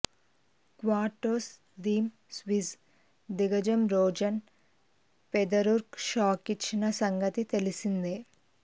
క్వార్టర్స్లో థీమ్ స్విస్ దిగ్గజం రోజర్ ఫెదరర్కు షాకిచ్చిన సంగతి తెలిసిందే